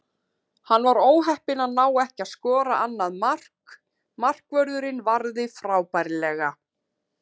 Hann var óheppinn að ná ekki að skora annað mark, markvörðurinn varði frábærlega.